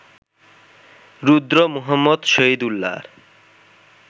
Rudra Muhammad শহিদুল্লাহর